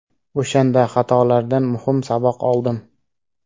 O‘shanda xatolardan muhim saboq oldim.